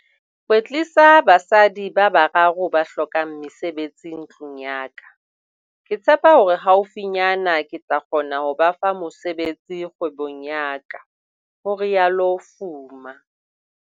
"kwetlisa basadi ba bararo ba hlokang mesebetsi ntlung ya ka. Ke tshepa hore haufinyana ke tla kgona ho ba fa mosebetsi kgwebong ya ka," ho rialo Fuma.